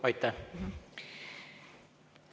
Aitäh!